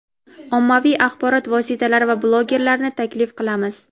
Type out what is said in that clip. ommaviy axborot vositalari va blogerlarni taklif qilamiz.